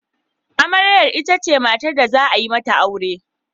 Amarya itace matar da za a yi mata aure.